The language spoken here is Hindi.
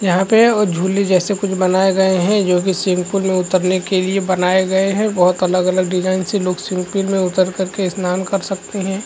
यहाँ पे ओ झूली जैसे कुछ बनाये गए है जोकि स्विमिंग पूल में उतरने के लिए बनाये गए है बहोत अलग-अलग डिज़ाइन से लोग स्विमिंग पूल में उतर कर के स्नान कर सकते है।